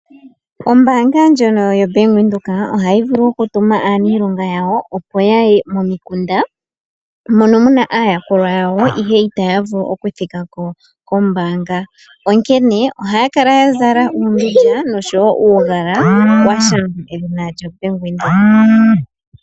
Oombaanga ndjono yaWindhoek ohayi vulu okutuma aaniilonga yawo opo ya ye momikunda mono muna aayakulwa yawo ihe itaya vulu oku thikako kombaanga. Onkene ohaya kala yazala uumbindja nosho wo uugala washangwa edhina lyombaanga yaWindhoek.